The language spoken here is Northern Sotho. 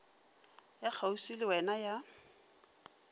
ya kgauswi le wena ya